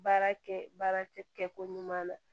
Baarakɛ baara kɛ ko ɲuman na